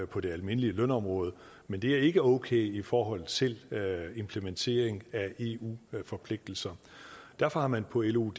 på det almindelige lønområde men det er ikke okay i forhold til implementering af eu forpligtelser derfor har man på lo